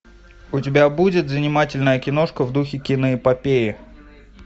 у тебя будет занимательная киношка в духе киноэпопеи